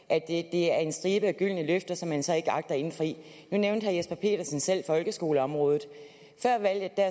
er en stribe af gyldne løfter som man så ikke agter at indfri nu nævnte herre jesper petersen selv folkeskoleområdet før valget